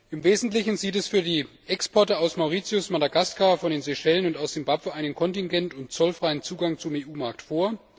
Im Wesentlichen sieht es für die Exporte aus Mauritius, Madagaskar, von den Seychellen und aus Simbabwe einen kontingent und zollfreien Zugang zum EU Markt vor.